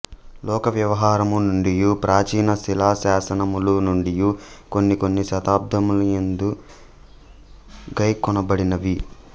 లోకవ్యవహారము నుండియు ప్రాచీన శిలాశాసనములనుండియు కొన్ని కొన్ని శబ్దములిందు గైకొనబడినవి